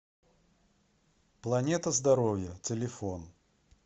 планета здоровья телефон